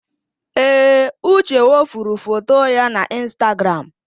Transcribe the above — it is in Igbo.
Ee, Uche wepụrụ foto ya n'Ịnstagram.